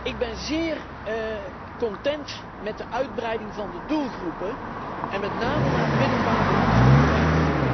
Ik ben zeer content met de uitbreiding van de doelgroepen en met name naar het middelbaar beroepsonderwijs.